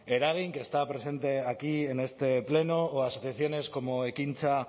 eragin que está presente aquí en este pleno o asociaciones como ekintza